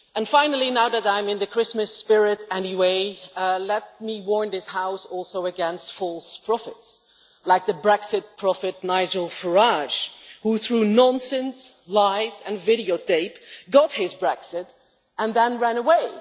Finally, now that I am in the Christmas spirit anyway, let me warn this House against false prophets, like the Brexit prophet Nigel Farage, who, through nonsense, lies, and videotape, got his Brexit and then ran away.